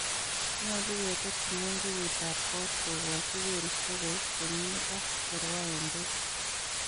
nyolu ketet kimonjogutab koot kogoochi koristo kous komie ak korwaen beek.